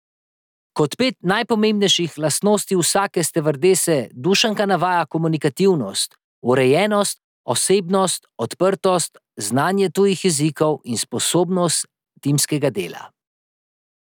Kot pet najpomembnejših lastnosti vsake stevardese Dušanka navaja komunikativnost, urejenost, osebnostno odprtost, znanje tujih jezikov in sposobnost timskega dela.